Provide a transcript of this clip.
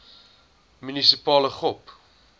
munisipale gop